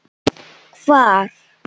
Hvar?